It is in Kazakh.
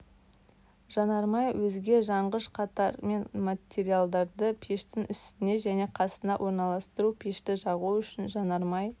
жанармай өзге жанғыш қаттар мен материалдарды пештің үстіне және қасына орналастыру пешті жағу үшін жанармай